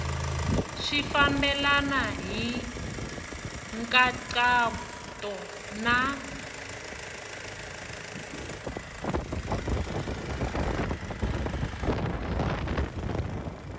swi fambelena hi nkhaqato na